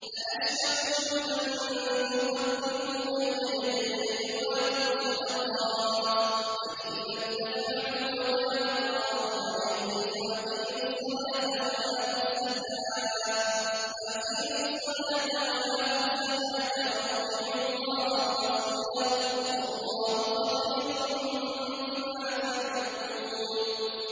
أَأَشْفَقْتُمْ أَن تُقَدِّمُوا بَيْنَ يَدَيْ نَجْوَاكُمْ صَدَقَاتٍ ۚ فَإِذْ لَمْ تَفْعَلُوا وَتَابَ اللَّهُ عَلَيْكُمْ فَأَقِيمُوا الصَّلَاةَ وَآتُوا الزَّكَاةَ وَأَطِيعُوا اللَّهَ وَرَسُولَهُ ۚ وَاللَّهُ خَبِيرٌ بِمَا تَعْمَلُونَ